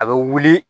A bɛ wuli